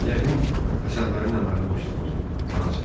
Yəqin əsəblərin əməlli başlı pozulub, anası dedi.